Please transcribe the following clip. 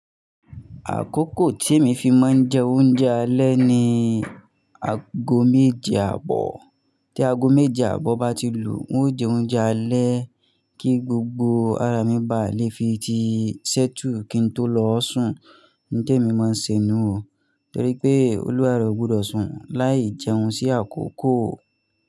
Àkókò tí èmi fi máa ń jẹ oúnjẹ alẹ́ ni ago méje àbọ̀. Tí ago méje àbọ̀ bá ti lù, n ó jẹ oúnjẹ alẹ́ kí gbogbo ara mi bá lè fi ti ṣẹ́tu kí n tó lọ ọ́ sùn. Ihun témi ma n se nù o, torí pé Olúwarẹ̀ ò gbúdọ sùn láì jẹun sí àkókò.